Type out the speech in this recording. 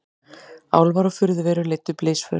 Álfar og furðuverur leiddu blysför